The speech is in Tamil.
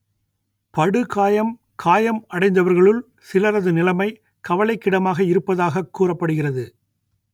படுகாயம் காயம் அடைந்தவர்களுள் சிலரது நிலமை கவலைக்கிடமாக இருப்பதாகக் கூறப்படுகிறது